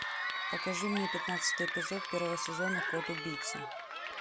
покажи мне пятнадцатый эпизод первого сезона код убийцы